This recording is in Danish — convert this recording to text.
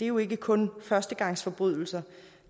jo ikke kun af førstegangsforbrydere